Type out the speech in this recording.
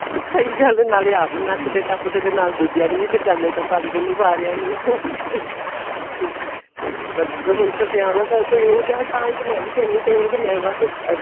ਸਹੀਂ ਗੱਲ ਏ ਨਾਲੋਂ ਆਪ ਨੱਚਦੇ ਟੱਪਦੇ ਨਾਲ ਦੂਜਿਆਂ ਨੂੰ ਨਚਾਦੇ ਟਪਾਦੇ ਨੇ ਸਾਰਿਆਂ ਨੂੰ ਬੱਸ ਹੁਣ ਤਾਂ ਵਿਆਵਾਂ ਦਾ ਕੋਈ ਉਹੋ ਜਾ ਤਾਂਹੀ ਤਾਂ ਮੈਵੀ ਕਹਿੰਦੀ ਪਈ ਹਾਂ ਮੈਂ ਬੱਸ